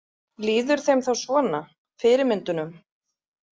Líður þeim þá svona, fyrirmyndunum?